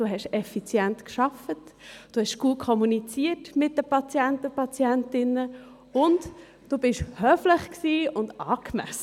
«Du hast effizient gearbeitet, du hast gut kommuniziert mit den Patienten und Patientinnen, und du warst höflich und angemessen.